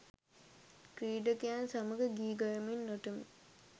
ක්‍රීඩකයන් සමග ගී ගයමින් නටමින්